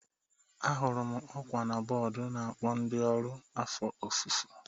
Ahụrụ m ọkwa na bọọdụ na-akpọ ndị ọrụ afọ ofufo